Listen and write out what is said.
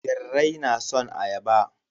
Birrai na son ayaba.